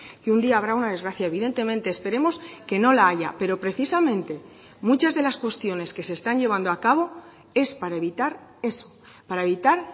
que un día habrá una desgracia evidentemente esperemos que no la haya pero precisamente muchas de las cuestiones que se están llevando a cabo es para evitar eso para evitar